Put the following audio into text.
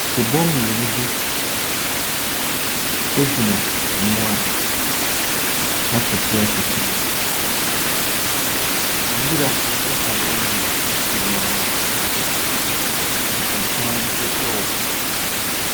Sibɔ mmienu bi gyina mmoa akɛseɛ akɛseɛ bi ɛso. Nwura atwa hɔ nom nyinaa ahyia. Nsensan ɛnso ɛwɔ hɔ.